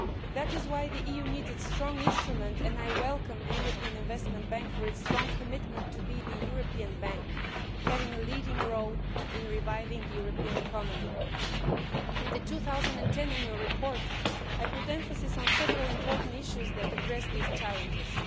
That is why the EU needs this strong institution and I welcome the European Investment Bank's strong commitment to taking a leading role in reviving the European economy. In the 2010 annual report I emphasised several important issues that addressed these challenges.